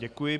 Děkuji.